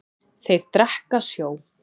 Þeir drekka sjó.